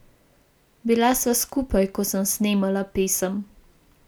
Bila sva skupaj, ko sem snemala pesem.